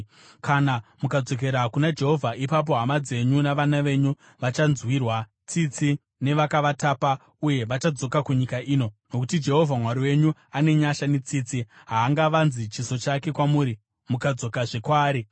Kana mukadzokera kuna Jehovha, ipapo hama dzenyu navana venyu vachanzwirwa tsitsi nevakavatapa uye vachadzoka kunyika ino, nokuti Jehovha Mwari wenyu ane nyasha netsitsi. Haangavanzi chiso chake kwamuri kana mukadzokazve kwaari.”